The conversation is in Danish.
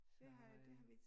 Det har det har vi ikke